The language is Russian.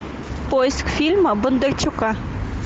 поиск фильма бондарчука